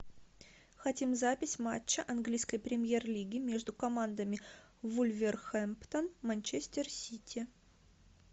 хотим запись матча английской премьер лиги между командами вулверхэмптон манчестер сити